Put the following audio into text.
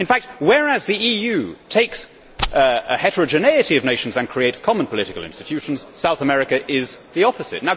In fact, whereas the EU takes heterogeneity of nations and creates common political institutions, South America is the opposite.